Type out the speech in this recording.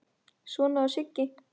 Svona var Siggi.